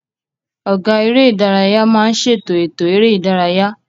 Ọ̀gá eré ìdárayá máa ń ṣètò ètò eré ìdárayá